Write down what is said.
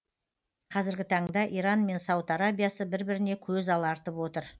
қазіргі таңда иран мен сауд арабиясы бір біріне көз алартып отыр